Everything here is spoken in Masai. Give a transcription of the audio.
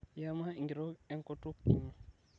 iyama enkitok enkutuk inyi